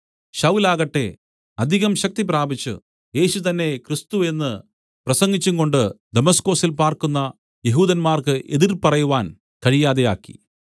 ശൌലാകട്ടെ അധികം ശക്തിപ്രാപിച്ചു യേശു തന്നെ ക്രിസ്തു എന്നു പ്രസംഗിച്ചുകൊണ്ട് ദമസ്കൊസിൽ പാർക്കുന്ന യെഹൂദന്മാർക്ക് എതിർ പറവാൻ കഴിയാതാക്കി